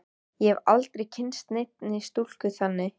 Ég hef aldrei kynnst neinni stúlku þannig.